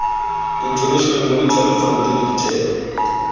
international monetary fund le ditheo